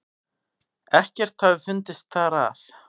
Ekkert hafi fundist þar að